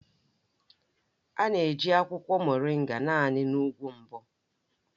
A na-eji akwụkwọ Moringa naanị na ugwu mbụ